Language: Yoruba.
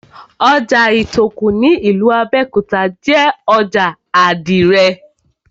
Ojà Ìtòkù ní ìlú Abẹ́òkúta jé ojà àdìrẹ̀